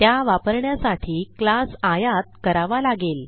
त्या वापरण्यासाठी क्लास आयात करावा लागेल